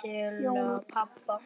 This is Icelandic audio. til pabba.